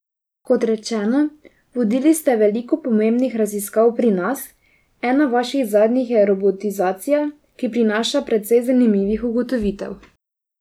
Kot rečeno, vodili ste veliko pomembnih raziskav pri nas, ena vaših zadnjih je robotizacija, ki prinaša precej zanimivih ugotovitev.